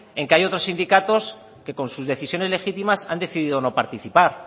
en que hay otros sindicatos que con sus decisiones legítimas han decidido no participar